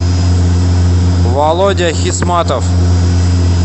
володя хисматов